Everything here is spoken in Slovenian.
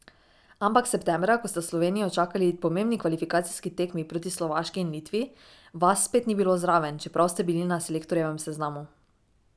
Ampak septembra, ko sta Slovenijo čakali pomembni kvalifikacijski tekmi proti Slovaški in Litvi, vas spet ni bilo zraven, čeprav ste bili na selektorjevem seznamu.